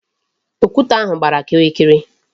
Okwute ahụ gbara kịrịkịrị.